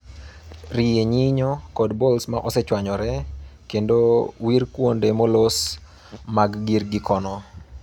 Rie nyinyo kod bolts ma osechwanyore, kendo wir kuonde molos mag gir kikono .